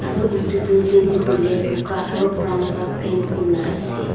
aru itu building toh huile buka aro brown pra paint kurina ase.